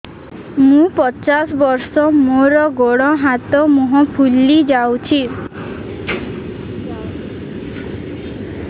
ମୁ ପଚାଶ ବର୍ଷ ମୋର ଗୋଡ ହାତ ମୁହଁ ଫୁଲି ଯାଉଛି